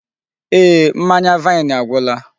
Eeh, mmanya vaini agwụla.